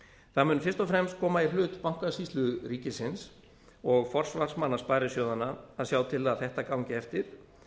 það mun fyrst og fremst koma í hlut bankasýslu ríkisins og forsvarsmanna sparisjóðanna að sjá til að þetta gangi eftir